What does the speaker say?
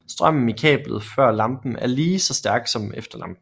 Strømmen i kablet før lampen er lige så stærk som efter lampen